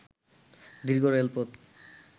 দীর্ঘ রেলপথ